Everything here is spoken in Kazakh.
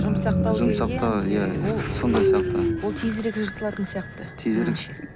сондай сияқты ол тезірек жыртылатын сияқты